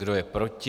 Kdo je proti?